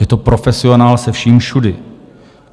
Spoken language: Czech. Je to profesionál se vším všudy.